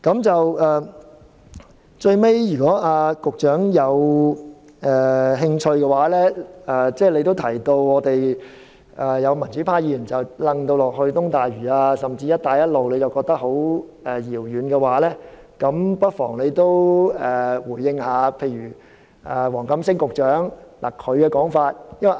最後，由於局長提到有民主派議員將這建議與東大嶼甚或"一帶一路"連結起來，而他覺得這些事情很遙遠，如果局長有興趣，不妨也回應例如黃錦星局長的說法。